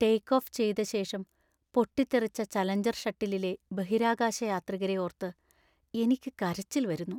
Take off ചെയ്ത ശേഷം പൊട്ടിത്തെറിച്ച ചലഞ്ചർ ഷട്ടിലിലെ ബഹിരാകാശയാത്രികരെ ഓർത്ത് എനിക്കു കരച്ചില്‍ വരുന്നു.